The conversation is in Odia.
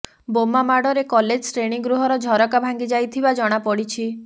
ବୋମାମାଡରେ କଲେଜ ଶ୍ରେଣୀ ଗୃହର ଝରକା ଭାଙ୍ଗି ଯାଇଥିବା ଜଣାପଡିଛି